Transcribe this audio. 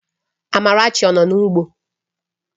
Amarachi ọ nọ n'ugbo?